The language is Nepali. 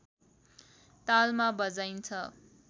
तालमा बजाइन्छ